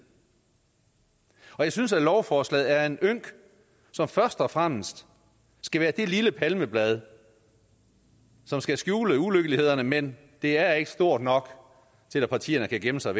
og jeg synes at lovforslaget er en ynk som først og fremmest skal være det lille palmeblad som skal skjule ulykkelighederne men det er ikke stort nok til at partierne kan gemme sig